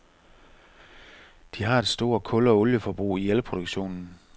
De har et stort kul- og olieforbrug i elproduktionen.